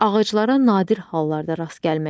Ağaclara nadir hallarda rast gəlmək olar.